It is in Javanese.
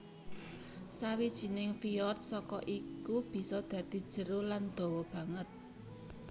Sawijining fyord saka iku bisa dadi jero lan dawa banget